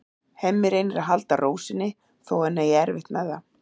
Hemmi reynir að halda ró sinni þó að hann eigi erfitt með það.